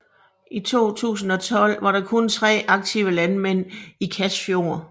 I 2012 var der kun tre aktive landmænd i Kasfjord